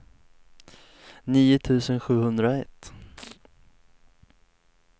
nio tusen sjuhundraett